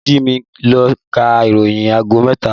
Olú Jimi ló ka ìròyìn aago mẹ́ta